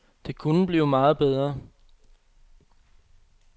De kunne blive meget bedre.